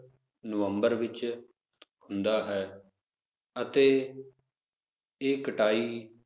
ਨਵੰਬਰ ਵਿਚ ਹੁੰਦਾ ਹੈ ਅਤੇ ਇਹ ਕਟਾਈ